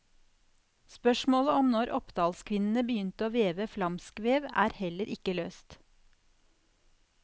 Spørsmålet om når oppdalskvinnene begynte å veve flamskvev, er heller ikke løst.